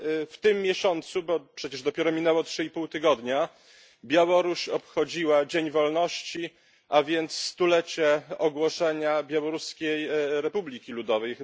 W tym miesiącu bo przecież dopiero minęło trzy i pół tygodnia Białoruś obchodziła Dzień Wolności, a więc stulecie ogłoszenia Białoruskiej Republiki Ludowej.